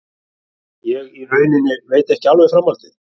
Ég í rauninni veit ekki alveg framhaldið.